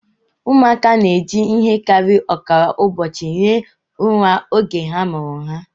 Ụmụaka na-eji ihe karịrị ọkara ụbọchị hie ụra oge a mụrụ ha